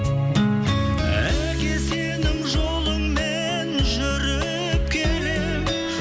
әке сенің жолыңмен жүріп келемін